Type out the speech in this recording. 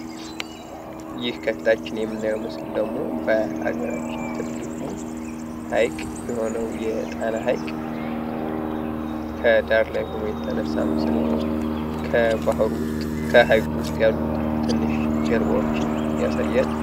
ይህ ከፊታችን የምናየው ምስል ደግሞ በሀገራችን ትልቁ ሀይቅ የሆነው የጣና ሀይቅ ከዳር ላይ ሆኖ የተነሳ ምስል ነው። ከሀይቁ ውስጥ ያሉ ትንሽ ጀልባዎችን ያሳያል።